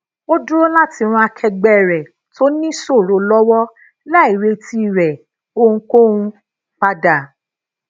ó dúró lati ran akegbe rè tó níṣòro lówó láì retí re ohunkóhun padà